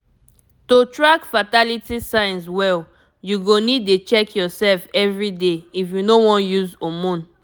to track fertility signs well you go need dey check yourself everyday if you no wan use hormone